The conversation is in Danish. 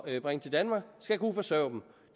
at bringe til danmark skal kunne forsørge dem